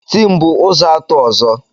Tin bụ ụzọ atụ ọzọ.